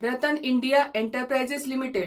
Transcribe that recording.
RattanIndia enterprises limited